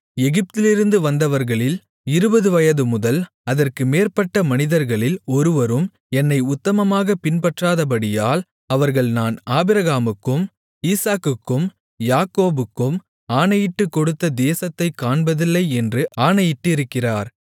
எகிப்திலிருந்து வந்தவர்களில் இருபது வயதுமுதல் அதற்கு மேற்பட்ட மனிதர்களில் ஒருவரும் என்னை உத்தமமாகப் பின்பற்றாதபடியால் அவர்கள் நான் ஆபிரகாமுக்கும் ஈசாக்குக்கும் யாக்கோபுக்கும் ஆணையிட்டுக்கொடுத்த தேசத்தைக் காண்பதில்லை என்று ஆணையிட்டிருக்கிறார்